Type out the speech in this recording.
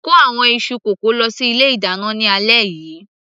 kó àwọn iṣu kókò lọ sí ilé ìdáná ní alẹ́ yìí